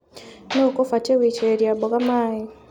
Nũu ũkũbatie gũitĩrĩria mboga maĩ.